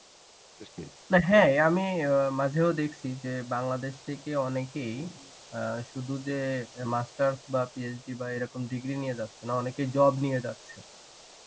না হ্যাঁ আমি ও মাঝেও দেখছি যে বাংলাদেশ থেকে অনেকেই অ্যাঁ শুধু যে master's বা PhD বা এরকম degree নিয়ে যাচ্ছে না অনেকেই job নিয়ে যাচ্ছে.